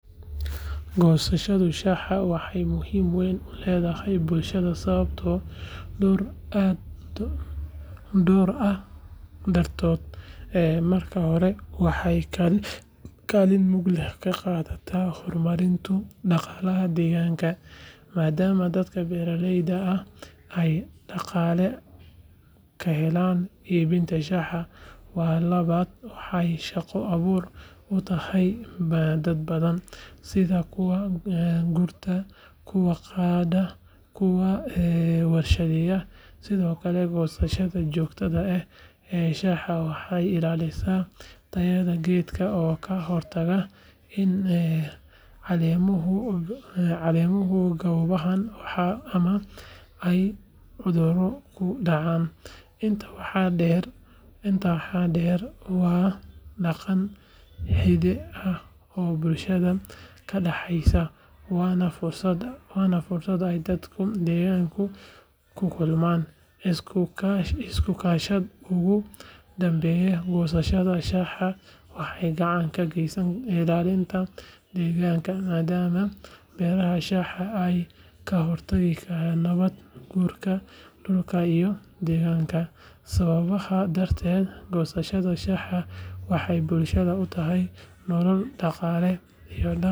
Goosashada shaaha waxay muhiimad weyn u leedahay bulshada sababo dhowr ah dartood. Marka hore, waxay kaalin mug leh ka qaadataa horumarinta dhaqaalaha deegaanka, maadaama dadka beeraleyda ah ay dhaqaale ka helaan iibinta shaaha. Ta labaad, waxay shaqo abuur u tahay dad badan, sida kuwa gurta, kuwa qaada, iyo kuwa warshadeeya. Sidoo kale, goosashada joogtada ah ee shaaha waxay ilaalisaa tayada geedka oo ka hortagta in caleemuhu gaboobaan ama ay cudurro ku dhacaan. Intaa waxaa dheer, waa dhaqan hidde ah oo bulshada ka dhaxaysa, waana fursad ay dadka deegaanka ku kulmaan, iskuna kaashadaan. Ugu dambayn, goosashada shaaha waxay gacan ka geysataa ilaalinta deegaanka, maadaama beeraha shaaha ay ka hortagaan nabaad guurka dhulka iyo daadadka. Sababahan darteed, goosashada shaaha waxay bulshada u tahay nolol, dhaqaale, iyo dhaqan muhiim ah.